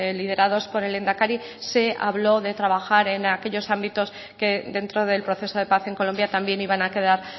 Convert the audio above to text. liderados por el lehendakari se habló de trabajar en aquellos ámbitos que dentro del proceso de paz en colombia también iban a quedar